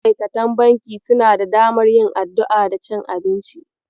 Ma'aikatan banki suna da damar yin addu'a da cin abinci.